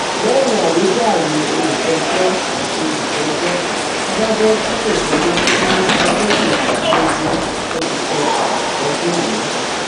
lẹyìn àwíjàre olùpẹjọ àti olùjẹjọ adájọ sún ìgbẹjọ sí ọjọ kejìdínlógún oṣù kẹfà ọdún yìí